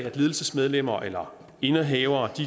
at ledelsesmedlemmer eller indehavere